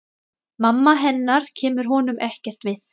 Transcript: Mamma hennar kemur honum ekkert við.